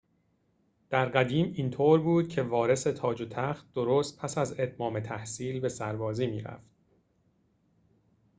در قدیم اینطور بود که وارث تاج و تخت درست پس از اتمام تحصیل به سربازی می‌رفت